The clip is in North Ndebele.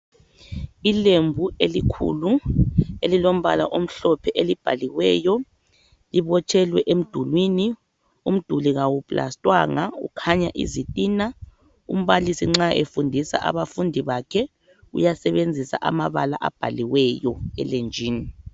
Ilembu elikhulu, elilombala omhlophe elibhaliweyo libotshelwe emdulwini. Umduli kawuplastwanga ukhanya izitina. Umbalisi nxa efundisa abafundi bakhe uyasebenzisa amabala abhaliweyo elenjini.